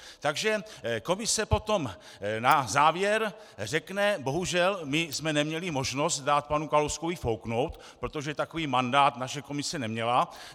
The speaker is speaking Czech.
Takže komise potom na závěr řekne: Bohužel, my jsme neměli možnost dát panu Kalouskovi fouknout, protože takový mandát naše komise neměla.